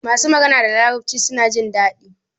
masu magana da larabci suna jindadi